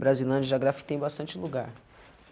Brasilândia já grafitei em bastante lugar.